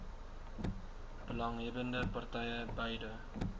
belanghebbbende partye beide